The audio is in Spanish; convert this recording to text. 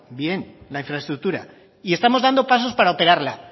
bien la infraestructura y estamos dando pasos para operarla